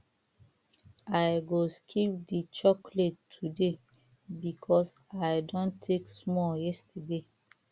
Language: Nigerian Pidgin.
i go skip the chocolate today because i don take small yesterday